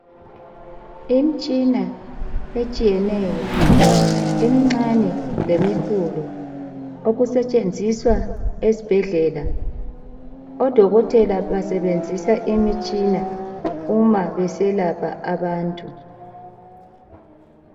Imitshina etshiyeneyo emincane lemikhulu okusetshenziswa ezibhedlela odokotela basebenzisa imitshina uma beselapha abantu